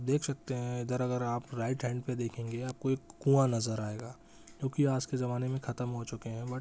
देख सकते हैं इधर अगर आप राइट हैंड पे देखेंगे आपको एक कुआँ नज़र आएगा जो कि आज के ज़माने में खत्म हो चुके है बट --